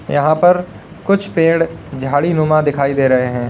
यहां पर कुछ पेड़ झाड़ी नुमा दिखाई दे रहे हैं।